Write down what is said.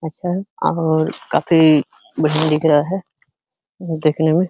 अच्छा है आहोर काफी महीन दिख रहा है। दिखने में --